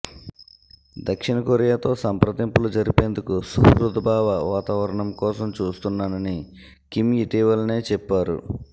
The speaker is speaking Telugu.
దక్షిణకొరియాతో సంప్రదింపులు జరిపేందుకు సుహృద్భావ వాతావరణం కోసం చూస్తున్నానని కిమ్ ఇటీవలనే చెప్పారు